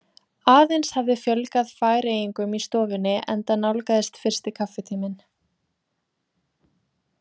Aðeins hafði fjölgað Færeyingum í stofunni enda nálgaðist fyrsti kaffitíminn.